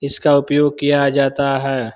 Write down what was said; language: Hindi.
इसका उपयोग किया जाता है।